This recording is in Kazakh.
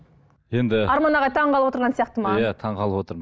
енді арман ағай таңғалып отырған сияқты маған таңғалып отырмын